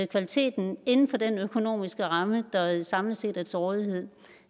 kvaliteten inden for den økonomiske ramme der samlet set er til rådighed